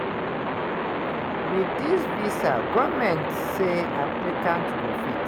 wit dis dis visa goment say applicants go fit;